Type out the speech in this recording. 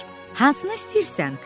Hansını istəyirsən?